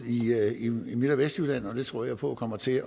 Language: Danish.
i midt og vestjylland og det tror jeg på kommer til